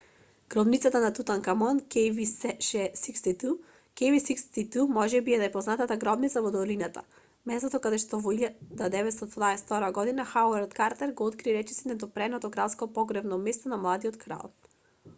гробница на тутанкамон kv62. kv62 можеби е најпознатата гробница во долината местото каде во 1922 година хауард картер го открил речиси недопреното кралско погревно место на младиот крал